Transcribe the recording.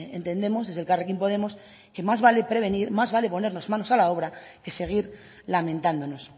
entendemos desde elkarrekin podemos que más vale prevenir más vale ponernos manos a la obra que seguir lamentándonos